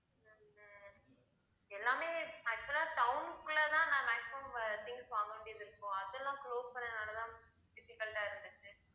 உம் எல்லாமே actual ஆ town குள்ளதான் நான் maximum things வாங்க வேண்டியது இருக்கும். அதெல்லாம் close பண்ணதுனாலதான் difficult ஆ இருந்துச்சு